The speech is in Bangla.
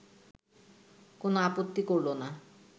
কোনো আপত্তি করল না